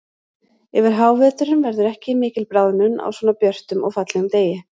Yfir háveturinn verður ekki mikil bráðnun á svona björtum og fallegum degi.